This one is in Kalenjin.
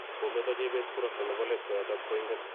kometo jebet kurasta nebo let koyatat koing'en